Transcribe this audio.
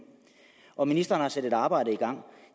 og ministeren har sat et arbejde i gang